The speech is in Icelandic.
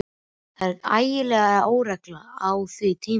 Það var ægileg óregla á því tímabili.